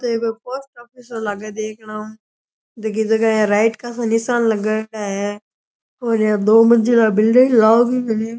यह post office लाग है देखन मैं जगे जगे राइट का निशान लगायेडा है और ये दो मंजिला बिल्डिंग लावणी बनी है।